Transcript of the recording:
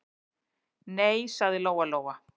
Nei, sagði Lóa-Lóa.